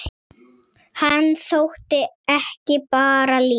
Hann þótti ekki bara líkur